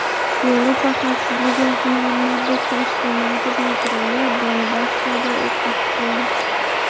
Yevropa xavfsizlik va hamkorlik tashkiloti patruli Donbassda o‘qqa tutildi.